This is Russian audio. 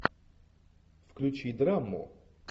включи драму